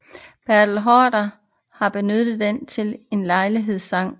Bertel Haarder har benyttet den til en lejlighedssang